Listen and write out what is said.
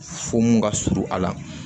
Fo mun ka surun a la